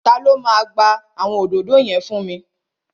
Ta ló máa gba àwọn òdòdó yẹn fún mi?